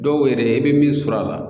Dɔw yɛrɛ i bɛ min sɔrɔ a la